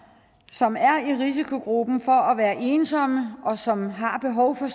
som er i risikogruppen af ensomme og som har behov for